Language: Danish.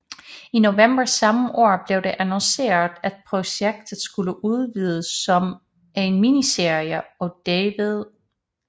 I november samme år blev det annonceret at projektet skulle udvikles som en miniserie og David E